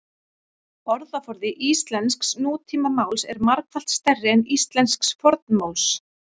Orðaforði íslensks nútímamáls er margfalt stærri en íslensks fornmáls.